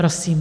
Prosím.